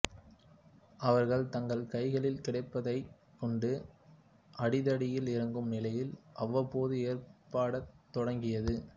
அவர்கள் தங்கள் கைகளில் கிடைப்பதைக் கொண்டு அடிதடியில் இறங்கும் நிலை அவ்வப்போது ஏற்படத் தொடங்கியது